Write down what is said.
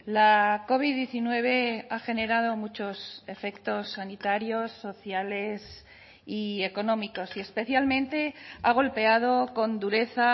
la covid diecinueve ha generado muchos efectos sanitarios sociales y económicos y especialmente ha golpeado con dureza